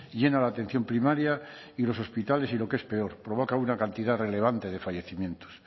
llena la atención primaria y los hospitales y lo que es peor provoca una cantidad relevante de fallecimientos